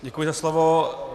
Děkuji za slovo.